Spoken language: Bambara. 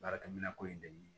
Baarakɛminɛn ko ye dɛ